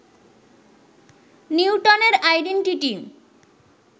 নিউটনের আইডেনটিটি